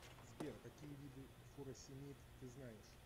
сбер какие виды фуросемид ты знаешь